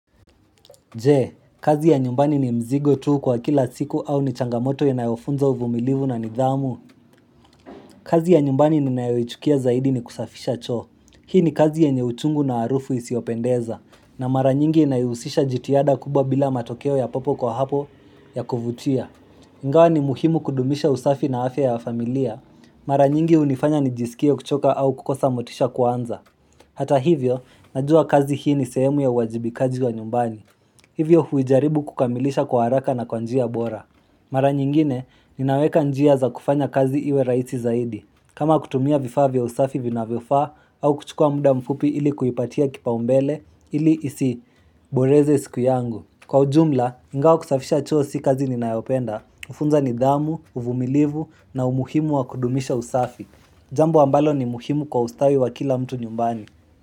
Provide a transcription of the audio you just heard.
Je, kazi ya nyumbani ni mzigo tu kwa kila siku au ni changamoto ya inayofunza uvumilivu na nidhamu. Kazi ya nyumbani ninayochukia zaidi ni kusafisha choo Hii ni kazi ya yenye uchungu na harufu isiyopendeza. Na mara nyingi inayohusisha jitihada kubwa bila matokeo ya popo kwa hapo ya kuvutia. Ingawa ni muhimu kudumisha usafi na afya ya familia. Mara nyingi hunifanya ni jisikie kuchoka au kukosa motisha kwanza. Hata hivyo, najua kazi hii ni sehemu ya wajibikaji wa nyumbani. Hivyo huijaribu kukamilisha kwa haraka na kwa njia bora. Mara nyingine ninaweka njia za kufanya kazi iwe raisi zaidi. Kama kutumia vifaa vya usafi vinavyofaa au kuchukua muda mfupi ili kuipatia kipaumbele ili isi boreze siku yangu. Kwa ujumla, ingawa kusafisha choo si kazi ninayopenda. Hufunza nidhamu, uvumilivu na umuhimu wa kudumisha usafi. Jambo ambalo ni muhimu kwa ustawi wa kila mtu nyumbani.